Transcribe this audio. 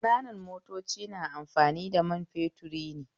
Ƙananan motoci na amfani da man fetur ne